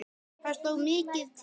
Það stóð mikið til.